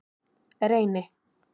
Reyni